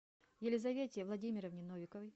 елизавете владимировне новиковой